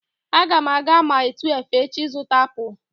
Aga m aga Mile 12 echi ịzụta apụl